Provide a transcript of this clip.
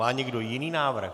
Má někdo jiný návrh?